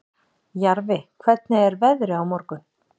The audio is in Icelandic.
Jarfi, hvernig er veðrið á morgun?